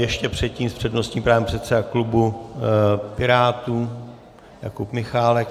Ještě předtím s přednostním právem předseda klubu Pirátů Jakub Michálek.